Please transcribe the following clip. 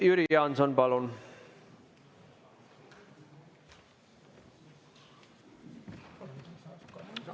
Jüri Jaanson, palun!